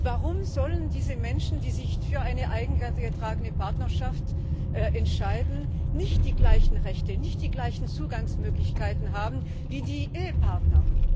Warum sollen diese Menschen, die sich für eine eingetragene Partnerschaft entscheiden, nicht die gleichen Rechte, nicht die gleichen Zugangsmöglichkeiten haben wie Ehepartner?